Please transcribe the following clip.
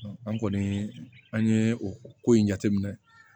An kɔni an ye o ko in jateminɛ